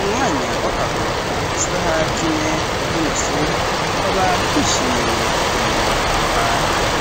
umwanya w'akaruhuko k'isaha zine n'inusu, baba bishimiye gukinira aho hantu.